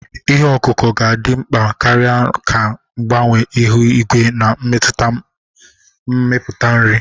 Ihe ọkụkụ ga-adị mkpa karịa ka mgbanwe ihu igwe na-emetụta mmepụta nri.